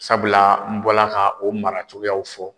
Sabula n bɔla ka o mara cogoyaw fɔ